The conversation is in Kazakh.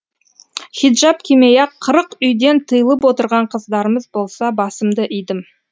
хиджаб кимей ақ қырық үйден тыйылып отырған қыздарымыз болса басымды идім